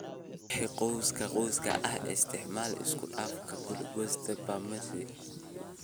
Wixii cawska cawska ah, isticmaal isku dhafka Glyphosate+Prometryn/S-metolachlor."